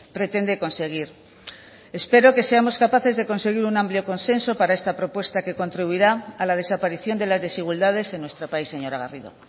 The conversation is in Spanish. pretende conseguir espero que seamos capaces de conseguir un amplio consenso para esta propuesta que contribuirá a la desaparición de las desigualdades en nuestro país señora garrido